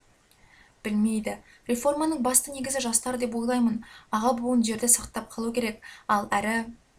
білмейді реформаның басты негізі жастар деп ойлаймын аға буын жерді сақтап қалу керек ал әрі